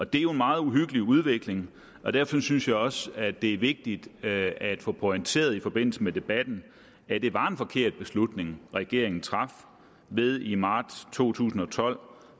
det er jo en meget uhyggelig udvikling og derfor synes jeg også at det er vigtigt at få pointeret i forbindelse med debatten at det var en forkert beslutning regeringen traf ved i marts to tusind og tolv